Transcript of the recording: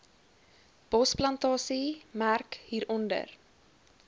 bosplantasie merk hieronder